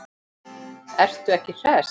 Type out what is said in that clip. Ertu ekki hress?